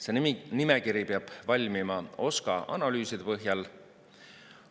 See nimekiri peab valmima OSKA analüüside põhjal.